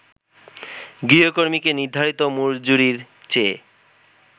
গৃহকর্মীকে নির্ধারিত মজুরির চেয়ে